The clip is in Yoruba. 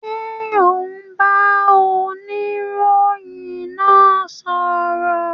Ṣé o n bá oniroyin náà sọ̀rọ̀?